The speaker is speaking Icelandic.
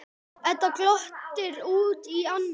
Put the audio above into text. Edda glottir út í annað.